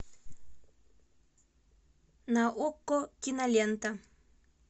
на окко кинолента